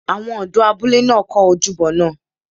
Àwọn ọ̀dọ́ abúlé náà kọ́ ojúbọ náà